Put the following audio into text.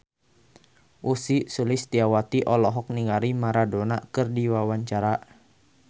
Ussy Sulistyawati olohok ningali Maradona keur diwawancara